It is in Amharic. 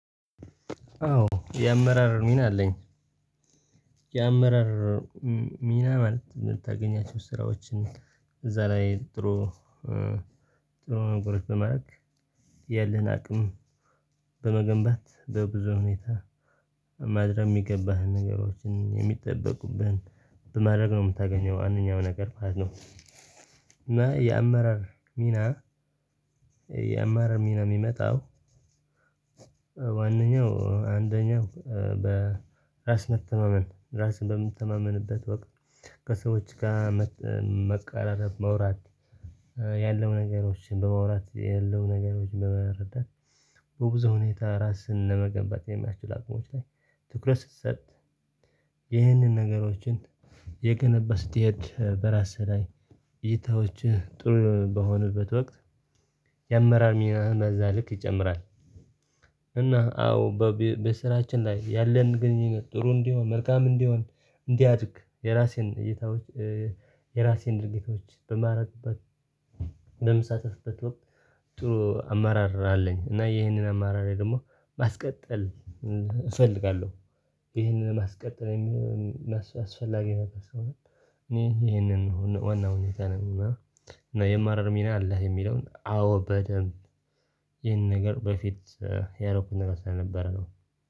አዎ የአመራር ሚና አለኝ። የአመራር ሚና ማለት የምታገኛቸው ስራዎችን እዛ ላይ ጥሩ ጥሩ ነገሮች በማድረግ ያለህን አቅም በመገንባት በብዙ ሁኔታ ማድረግ የሚገባህን ነገሮችን የሚጠበቁብሁን በማድረግ ነው የምታገኘው አንደኛው ነገር ማለት ነው። እና የአመራር ሚና የአመራር ሚና የሚመጣው ዋናኛው አንደኛው በራስ መተማመን ራስን በምትተማመንበት ወቅት ከሰዎች ጋር መቀራረብ ማውራት ያለው ነገሮችን በማውራት ያለው ነገሮችን በመረዳት በብዙ ሁኔታ ራስን ለመገንባት የሚያስችል አቅሞች ላይ ትኩረት ስትሰጥ ይህንን ነገሮችን የገነባ ስትሄድ በራስህ ላይ እይታዎችህ ጥሩ በሆኑበት ወቅት የአመራር ሚና በእዛ ልክ ይጨምራል። እና አዎ በስራችን ላይ ያለን ግንኙነት ጥሩ እንዲሆን መልካም እንዲሆን እንዲያድግ የራሴን እይታዎች ድርጊቶች በማራጥበት በምሳተፎበት ወቅት ጥሩ አማራር አለኝ እና ይሄንን አመራር ደግሞ ማስቀጠል እፈልጋለሁ። ይሄንን ማስቀጠል የሚሆን አስፈላጊ ነገር ስለሆነ እኔ ይሄንን ዋናው ሁኔታ ነኝ እና የአማረር ሚና አለህ የሚለውን አዎ በደንብ ይህን ነገር በፊት ያረኩኝ ነገር ስለነበር ነው